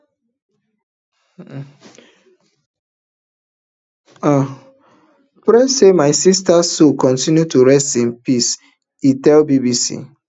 i i pray say my sisters soul continue to rest in peace e tell bbc